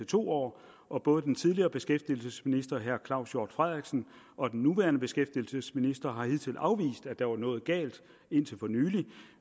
to år og både den tidligere beskæftigelsesminister og den nuværende beskæftigelsesminister har indtil afvist at der var noget galt